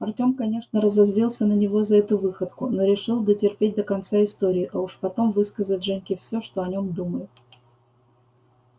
артем конечно разозлился на него за эту выходку но решил дотерпеть до конца истории а уж потом высказать женьке все что о нем думает